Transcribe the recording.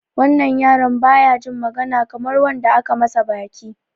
Wannan yaron baya jin magana Kamar wanda aka masa baki.